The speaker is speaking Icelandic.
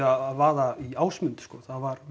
að vaða í Ásmund sko